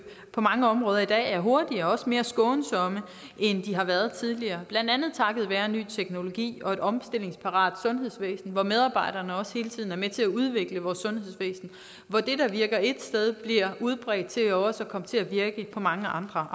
på mange områder i dag er hurtigere og også mere skånsomme end de har været tidligere blandt andet takket være ny teknologi og et omstillingsparat sundhedsvæsen hvor medarbejderne også hele tiden er med til at udvikle vores sundhedsvæsen hvor det der virker et sted bliver udbredt til også at komme til at virke på mange andre